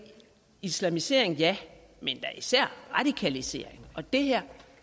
islamisering ja men da især radikalisering og det her